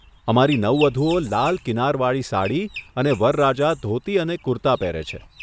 અમારી નવવધુઓ લાલ કિનારવાળી વાળી સાડી અને વરરાજા ધોતી અને કુર્તા પહેરે છે.